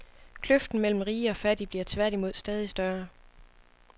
Kløften mellem rige og fattige bliver tværtimod stadig større.